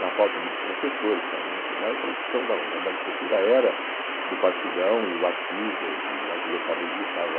Na FAU tinha muitos professores, a tradição da da da arquitetura era do Partidão e o Artigas, e o Artigas talvez estava...